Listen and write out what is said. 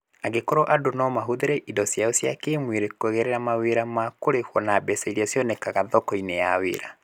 Angĩkorũo andũ no mahũthĩre indo ciao cia kĩĩmwĩrĩ kũgerera mawĩra ma kũrĩhwo na mbeca iria cionekaga thoko-inĩ ya wĩra.